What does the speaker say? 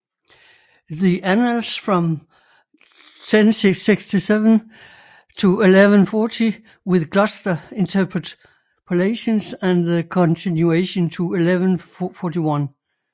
The Annals from 1067 to 1140 with Gloucester Interpolations and The Continuation to 1141